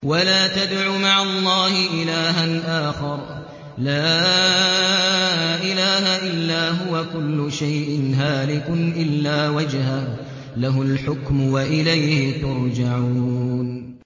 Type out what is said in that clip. وَلَا تَدْعُ مَعَ اللَّهِ إِلَٰهًا آخَرَ ۘ لَا إِلَٰهَ إِلَّا هُوَ ۚ كُلُّ شَيْءٍ هَالِكٌ إِلَّا وَجْهَهُ ۚ لَهُ الْحُكْمُ وَإِلَيْهِ تُرْجَعُونَ